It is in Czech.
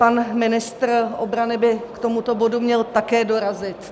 Pan ministr obrany by k tomuto bodu měl také dorazit.